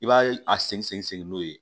I b'a a segin n'o ye